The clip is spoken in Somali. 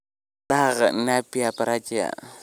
"Daaqa- napier, bracharia."